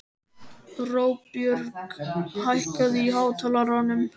Róbjörg, hækkaðu í hátalaranum.